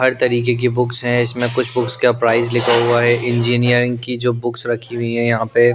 हर तरीके की बुक्स है इसमें कुछ बुक्स का प्राइस लिखा हुआ है इंजीनियरिंग की जो बुक्स रखी हुई है यहाँ पे--